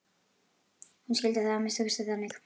Hún skildi það að minnsta kosti þannig.